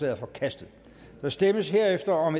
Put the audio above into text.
er forkastet der stemmes herefter om